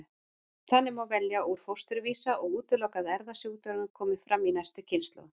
Þannig má velja úr fósturvísa og útiloka að erfðasjúkdómurinn komi fram í næstu kynslóð.